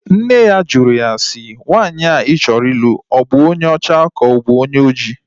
Nne ya jụrụ ya si, nwaanyị ahụ ị chọrọ ịlụ ọ bụ onye ọcha ka ọ bụ onye oji?